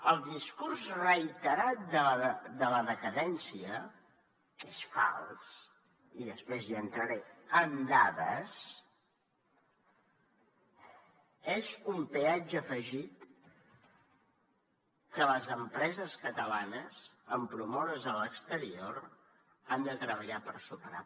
el discurs reiterat de la decadència que és fals i després hi entraré amb dades és un peatge afegit que les empreses catalanes en promoure’s a l’exterior han de treballar per superar